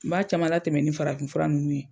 N ba caman la tɛmɛn ni farafin fura nunnu ye.